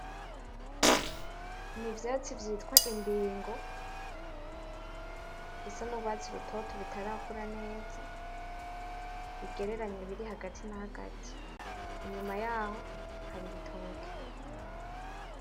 Ni ivyatsi vyitwa imbingo bisa n'urwatsi rutoto bitarakura neza, bigereranye biri hagati na hagati, inyuma yaho hari ibitoke.